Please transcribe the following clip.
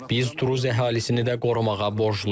Biz druz əhalisini də qorumağa borcluyuq.